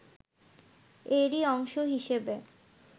এরই অংশ হিসেবে